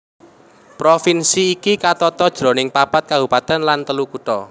Provinsi iki katata jroning papat kabupatèn lan telu kutha